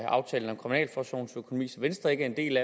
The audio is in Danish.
aftalen om kriminalforsorgens økonomi som venstre ikke har del